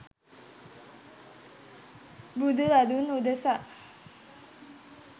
බුදුරදුන් උදෙසා